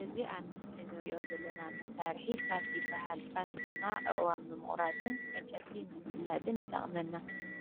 እዚ ኣብ ምስሊ ንርእዮ ዘለና መሳርሒ ፋስ ይበሃል ፋስ ድማ ኣእዋም ንምቁራፅን ዕንጨይቲ ንምፍላፅን ይጠቕመና